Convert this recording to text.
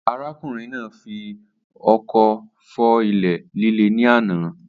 Arákùnrin náà fi ọkọ fọ́ ilẹ̀ líle ní àná